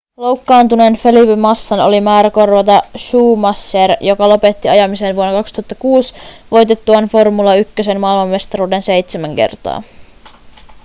loukkaantuneen felipe massan oli määrä korvata schumacher joka lopetti ajamisen vuonna 2006 voitettuaan formula 1:n maailmanmestaruuden seitsemän kertaa